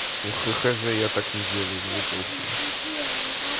хх хз я так не делаю мне похую